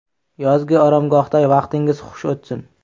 Yozgi oromgohda vaqtingiz xush o‘tsin!